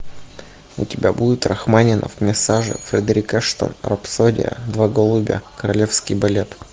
у тебя будет рахманинов мессаже фредерик эштон рапсодия два голубя королевский балет